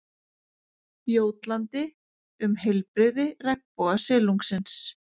Jótlandi um heilbrigði regnbogasilungsins.